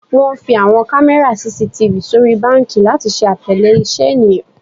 Wọn fi awọn kamẹra CCTV sori banki lati ṣe atẹle iṣẹ eniyan.